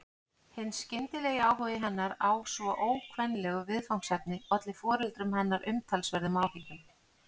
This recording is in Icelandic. Hinn skyndilegi áhugi hennar á svo ókvenlegu viðfangsefni olli foreldrum hennar umtalsverðum áhyggjum.